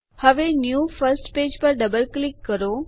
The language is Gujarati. હવે ન્યૂ ફર્સ્ટ પેજ પર ડબલ ક્લિક કરો